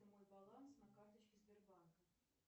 мой баланс на карточке сбербанка